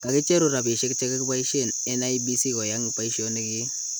Kakicheru rapishek chekipaishen en IEBC koyang paishonik kii